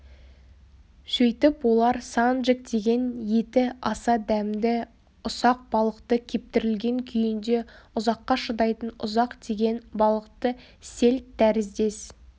сөйтіп олар санджек деген еті аса дәмді ұсақ балықты кептірілген күйінде ұзаққа шыдайтын ұзақ деген балықты сельд тәріздес